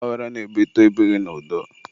ọgbaghara na-ebute ebighị n'udo.